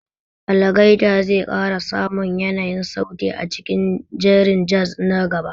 Algaita zai ƙara samun yanayin sauti a cikin jerin jaz nan gaba.